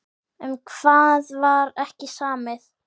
Um hvað var ekki samið?